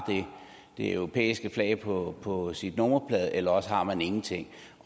det europæiske flag på på sin nummerplade eller også har man ingenting